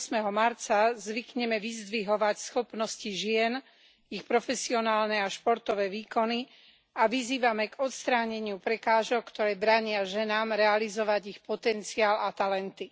8. marca zvykneme vyzdvihovať schopnosti žien, ich profesionálne a športové výkony a vyzývame k odstráneniu prekážok, ktoré bránia ženám realizovať ich potenciál a talenty.